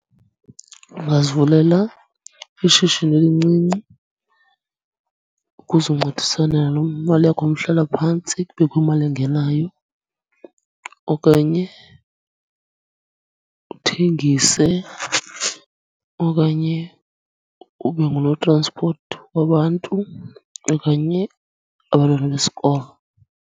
Ungazivulela ishishini elincinci ukuzoncedisana nemali yakho yomhlala phantsi kubekho imali engenayo, okanye uthengise, okanye ubengunotranspoti wabantu okanye abantwana besikolo.